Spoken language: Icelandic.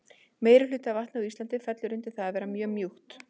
meirihluti af vatni á íslandi fellur undir það að vera mjög mjúkt